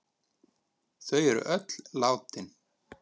Þau er öll látin.